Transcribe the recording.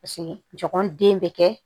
Paseke jɔn den bɛ kɛ